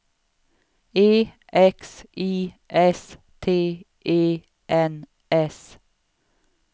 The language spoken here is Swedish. E X I S T E N S